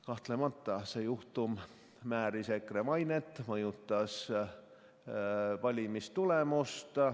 Kahtlemata määris see juhtum EKRE mainet ja mõjutas valimistulemust.